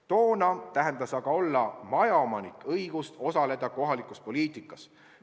Toona tähendas majaomanikuks olemine õigust osaleda kohalikus poliitikas.